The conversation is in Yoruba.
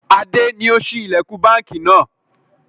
Adé ni ó ṣí ilẹkun báńkì náà.